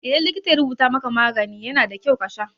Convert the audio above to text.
Idan likita ya rubuta maka magani, yana da kyau kasha.